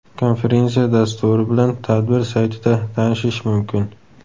Konferensiya dasturi bilan tadbir saytida tanishish mumkin.